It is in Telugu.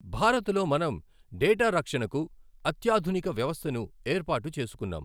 భారత్ లో మనం డేటా రక్షణకు అత్యాధునిక వ్యవస్థను ఏర్పాటు చేసుకున్నాం.